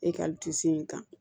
E ka in kan